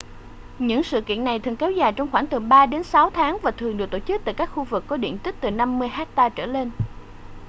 những sự kiện này thường kéo dài trong khoảng từ 3 đến 6 tháng và thường được tổ chức tại các khu vực có diện tích từ 50 hecta trở lên